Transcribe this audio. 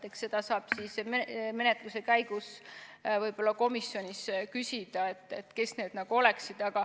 Eks seda saab menetluse käigus võib-olla komisjonis küsida, kes need oleksid.